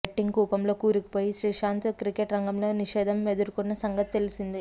betting కూపంలో కూరుకుపోయి Sreesanth cricket రంగంలో నిషేధం ఎదుర్కొన్న సంగతి తెలిసిందే